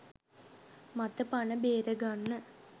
මත පණ බේරගන්න